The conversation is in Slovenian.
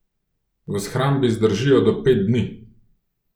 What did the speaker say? V shrambi zdržijo do pet dni.